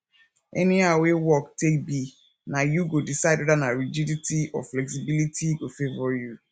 anyhow wey work take be na yu go decide weda na rigidity or flexibility go favor you